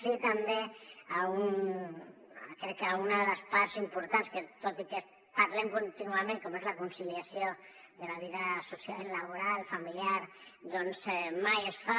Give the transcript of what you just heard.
sí també a una de les parts importants que tot i que en parlem contínuament com és la conciliació de la vida laboral i familiar mai es fa